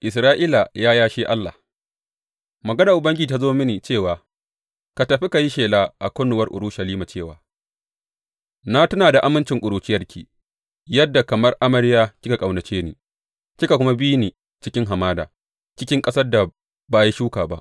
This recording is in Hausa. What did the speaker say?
Isra’ila ya yashe Allah Maganar Ubangiji ta zo mini cewa, Tafi ka yi shela a kunnuwar Urushalima cewa, Na tuna da amincin ƙuruciyarki, yadda kamar amarya kika ƙaunace ni kika kuma bi ni cikin hamada, cikin ƙasar da ba a yi shuka ba.